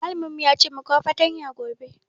Mallamin mu ya ce mu kawo fatanya gobe.